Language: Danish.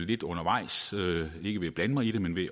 lidt undervejs ikke ved at blande mig men ved at